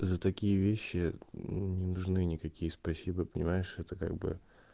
за такие вещи не нужны никакие спасибо понимаешь это как бы